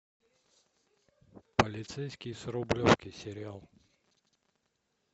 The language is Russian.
полицейский с рублевки сериал